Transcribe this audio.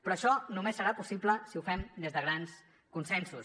però això només serà possible si ho fem des de grans consensos